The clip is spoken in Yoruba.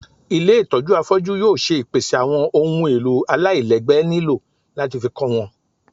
ilé itọju afọju yóò ṣe ìpèsè awọn ohún èlò àláilègbé niló latí fí kọ wọn